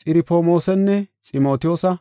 Xirofmoosanne Ximotiyoosa.